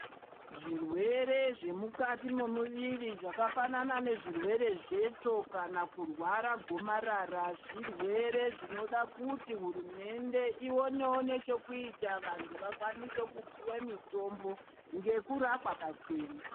Zvirwere zve mukati mo muviri zvaka fanana ne zvirwere zvetsvo kana kurwara gomarara zvirwere zvinoda kuti hurumende iwonewo ne chekuita vantu vakwanise kupuwe mitombo ngeku rapwa pachena.